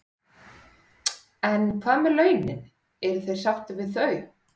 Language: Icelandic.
En hvað með launin, eru þeir sáttir við þau?